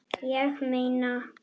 Ég meina